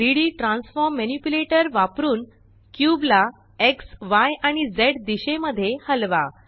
3डी transform manipulator वापरुन cube ला एक्स य आणि झ दिशेमध्ये हलवा